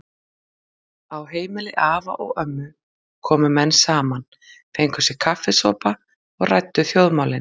Á heimili afa og ömmu komu menn saman, fengu sér kaffisopa og ræddu þjóðmálin.